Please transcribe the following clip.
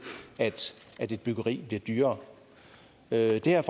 at et byggeri bliver dyrere det her